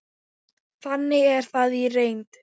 Þannig er það í reynd.